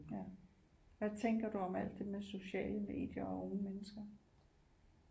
Ja hvad tænker du om at det med sociale medier og unge mennesker